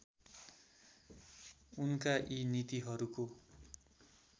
उनका यी नीतिहरूको